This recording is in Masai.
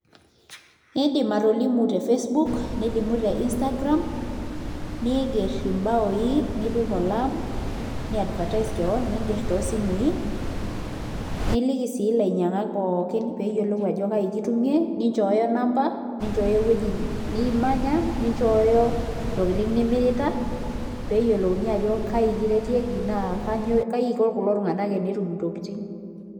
IIndim atolimu te Facebook nilimu te Instagram niingerr imbaa nipik olaam ni advertise kewon niingerr toosimui niliki sii ilainyiangak pooki ajo kaji kitumie ninchooyo namba ninchooyo ewueji nimanya ninchooyo entoki nimirita pee eyiolouni ajo kaai kiretieki naa kaai iko kulo tung'anak pee etum ntokitin.